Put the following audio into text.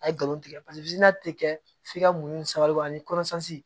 A ye galon tigɛ paseke tɛ kɛ f'i ka muɲu ni sabalibugu ani